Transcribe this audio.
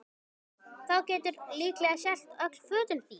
Þá geturðu líklega selt öll fötin þín